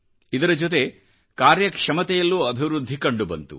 ಇದರ ಜೊತೆ ಕಾರ್ಯಕ್ಷಮತೆಯಲ್ಲೂ ಅಭಿವೃದ್ಧಿಕಂಡುಬಂತು